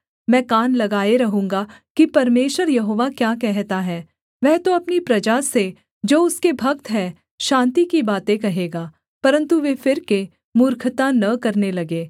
मैं कान लगाए रहूँगा कि परमेश्वर यहोवा क्या कहता है वह तो अपनी प्रजा से जो उसके भक्त है शान्ति की बातें कहेगा परन्तु वे फिरके मूर्खता न करने लगें